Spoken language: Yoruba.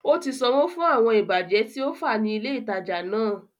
Ó ti sanwó fún àwọn ìbàjẹ́ tí ó fá ní ilè ìtajà náà